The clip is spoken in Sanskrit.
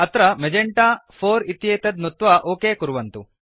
तत्र मेजेन्टा 4 इत्येतत् नुत्वा ओक कुर्वन्तु